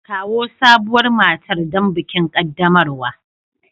Kawo sabuwar matar don bikin qaddamarwa.